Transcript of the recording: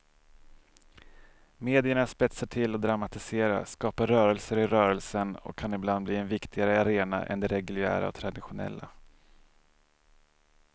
Medierna spetsar till och dramatiserar, skapar rörelser i rörelsen och kan ibland bli en viktigare arena än de reguljära och traditionella.